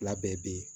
Fila bɛɛ bɛ yen